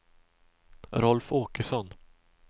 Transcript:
Rolf Åkesson